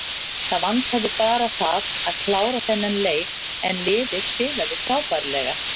Það vantaði bara það að klára þennan leik en liðið spilaði frábærlega.